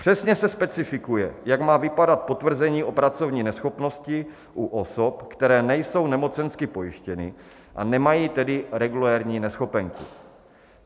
Přesně se specifikuje, jak má vypadat potvrzení o pracovní neschopnosti u osob, které nejsou nemocensky pojištěny, a nemají tedy regulérní neschopenku.